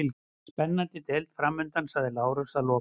Spennandi deild framundan, sagði Lárus að lokum.